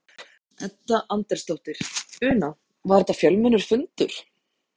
Edda Andrésdóttir: Una, var þetta fjölmennur fundur?